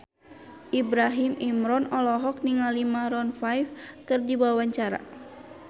Ibrahim Imran olohok ningali Maroon 5 keur diwawancara